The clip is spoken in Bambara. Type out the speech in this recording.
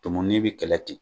Tɔmɔnin bɛ kɛlɛ ten.